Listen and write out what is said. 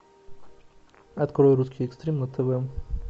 открой русский экстрим на тв